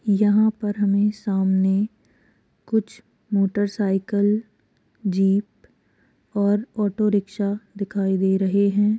यहाँ पर हमे सामने कुछ मोटरसाइकिल जीप और ऑटोरिक्शा दिखाई दे रहे हैं।